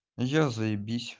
я заибись